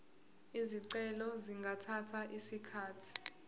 izicelo zingathatha isikhathi